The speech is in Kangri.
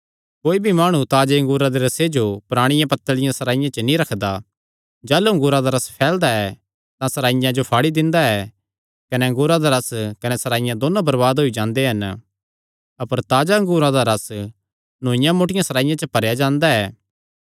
कोई भी माणु ताजे अंगूरा दे रसे जो पराणियां पत्तल़ियां सराईयां च नीं रखदा जाह़लू अंगूरा दा रस फैलदा ऐ तां सराईयां जो फाड़ी दिंदा ऐ कने अंगूरा दा रस कने सराईयां दोयो बरबाद होई जांदे हन अपर ताजा अंगूरा दा रस नौईआं मोटियां सराईयां च भरेया जांदा ऐ